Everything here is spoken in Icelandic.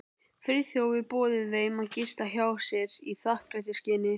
Friðþjófur boðið þeim að gista hjá sér í þakklætisskyni.